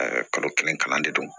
kalo kelen kalan de don